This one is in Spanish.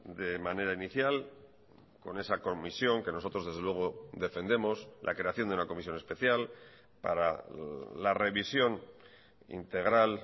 de manera inicial con esa comisión que nosotros desde luego defendemos la creación de una comisión especial para la revisión integral